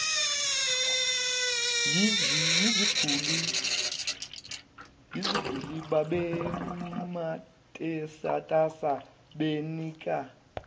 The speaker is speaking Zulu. yeziguli babematasatasa benika